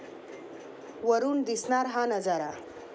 वरुन दिसणारा हा नजारा